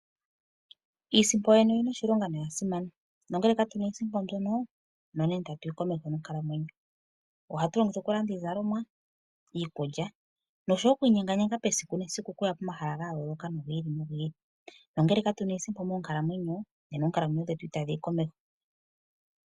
Iisimpo yoyene oyina oshilonga noya simana, nongele ka tu na iisimpo mbyono nena itatu yi komeho nonkalamwenyo. Ohatu yi longitha okulanda iizalomwa, iikulya osho wo oku inyenga esiku nesiku okuya komahala ga yooloka gi ili nogi ili, nongele ka tu na iisimpo monkalamwenyo nena oonkalamwenyo dhetu itadhi yi komeho.